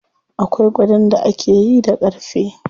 Akwai gadon da akayi da ƙarfe.